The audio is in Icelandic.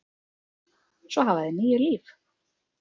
Svo hafa þeir níu líf.